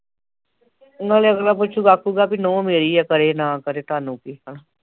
ਨਾਲੇ ਅਗਲਾ ਪੁੱਛਗਾ ਆਖੂਗਾ ਕਿ ਨੰਹੂ ਮੇਰੀ ਆ ਕਰੇ ਨਾ ਕਰੇ ਤੁਹਾਨੂੰ ਕੀ ਆ ਹੈ ਨਾ